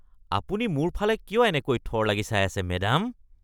আপুনি মোৰ ফালে কিয় এনেকৈ থৰ লাগি চাই আছে, মেডাম?